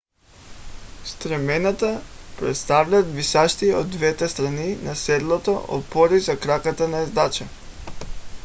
стремената представляват висящи от двете страни на седлото опори за краката на ездача